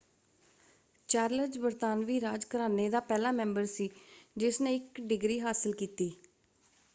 Charles ਬਰਤਾਨਵੀ ਰਾਜ ਘਰਾਨੇ ਦਾ ਪਹਿਲਾ ਮੈਂਬਰ ਸੀ ਜਿਸਨੇ ਇੱਕ ਡਿਗਰੀ ਹਾਸਲ ਕੀਤੀ।